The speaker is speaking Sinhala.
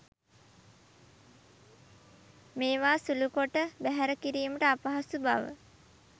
මේවා සුළුකොට බැහැර කිරීමට අපහසු බව